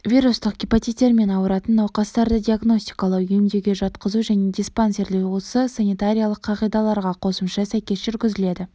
вирустық гепатиттермен ауыратын науқастарды диагностикалау емдеуге жатқызу және диспансерлеу осы санитариялық қағидаларға қосымшаға сәйкес жүргізіледі